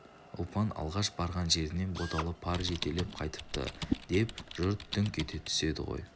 ұлпан алғаш барған жерінен боталы пар жетелеп қайтыпты деп жұрт дүңк ете түседі ғой